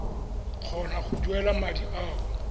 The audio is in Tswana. kgona go duela madi ao